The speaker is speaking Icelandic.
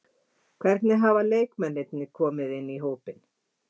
Hvernig hafa nýju leikmennirnir komið inn í hópinn?